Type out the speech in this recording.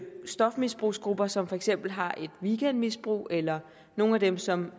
stofmisbrugsgrupper som for eksempel har et weekendmisbrug eller nogle af dem som